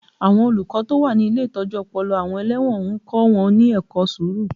Àwọn olùkọ́ tó wà ní ilé ìtọ́jú ọpọlọ àwọn ẹlẹ́wọ̀n ń kọ́ wọn ní ẹ̀kọ́ sùúrù